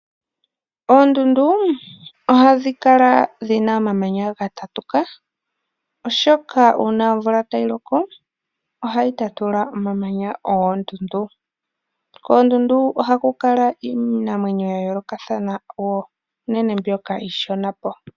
Oondundu ohadhi kala dhina omamanya ga tatuka, oshoka uuna omvula tayi loko ohayi tatula omamanya goondundu. Koondundu ohaku kala iinamwenyo ya yoolokathana woo, unene mbyoka iishona.